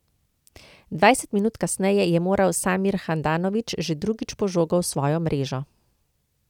Dvajset minut kasneje je moral Samir Handanović že drugič po žogo v svojo mrežo.